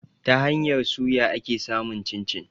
Ta hanyar suya ake samun cin-cin.